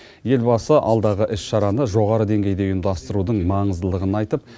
елбасы алдағы іс шараны жоғары деңгейде ұйымдастырудың маңыздылығын айтып